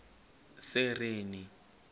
sereni